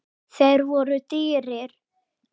Þeir voru dýrir.